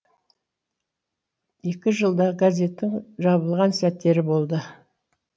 екі жылдай газеттің жабылған сәттері болды